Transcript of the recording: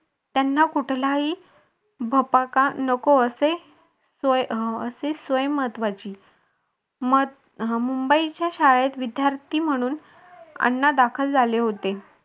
त्यांना कुठलाही भपाका नको असे असे स्वयम् महत्वाचे मत मुंबई च्या शाळेत विद्यार्थी म्हणून अण्णा दाखल झाले होते.